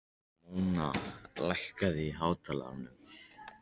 Móna, lækkaðu í hátalaranum.